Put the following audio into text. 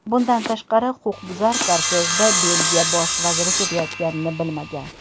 Bundan tashqari, huquqbuzar kortejda Belgiya bosh vaziri ketayotganini bilmagan.